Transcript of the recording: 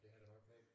Det har det nok været